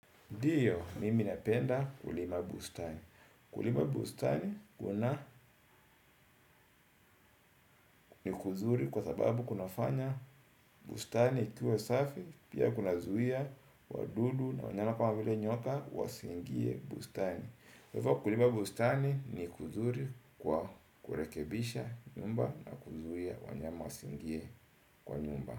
Ndiyo, mimi napenda kulima bustani. Kulima bustani kuna ni kuzuri kwa sababu kuna fanya bustani ikuwe safi, pia kuna zuia wadudu na wanyana kana vile nyoka wasiingie bustani. Kulima bustani ni kuzuri kwa kurekebisha nyumba na kuzuia wanyama wasiingie kwa nyumba.